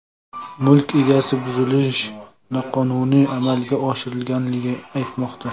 Mulk egasi buzilish noqonuniy amalga oshirilganligini aytmoqda.